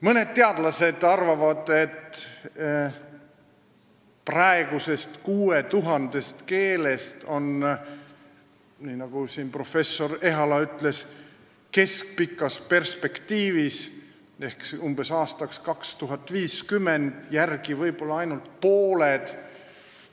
Mõned teadlased arvavad, et praegusest 6000 keelest on, nagu professor Ehala ütles, keskpikas perspektiivis ehk umbes aastaks 2050 järel võib-olla ainult pooled.